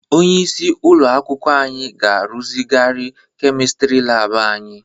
Onyeisi ụlọ akwụkwọ anyị ga-arụzigharị kemistrị lab anyị.